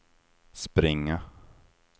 springa